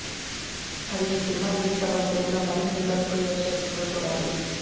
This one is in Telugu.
మరి ఈ సినిమా రిలీజ్ తర్వాత తెలుగులో మరిన్ని రికార్డ్స్ క్రియేట్ చేస్తుందో చూడాలి